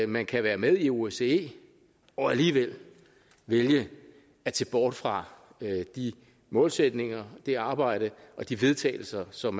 man kan være med i osce og alligevel vælge at se bort fra de målsætninger det arbejde og de vedtagelser som